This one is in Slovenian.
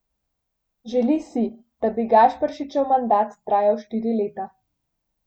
Želi si, da bi Gašperšičev mandat trajal štiri leta.